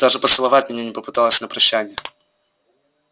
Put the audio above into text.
даже поцеловать меня не попыталась на прощанье